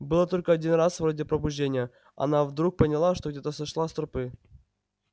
было только один раз вроде пробуждения она вдруг поняла что где-то сошла с тропы